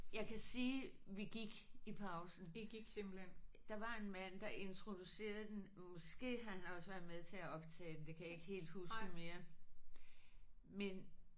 Jeg kan sige vi gik i pausen. Der var en mand der introducerede den måske han har også været med til at optage den det kan jeg ikke helt huske mere men